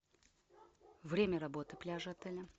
время работы пляжа отеля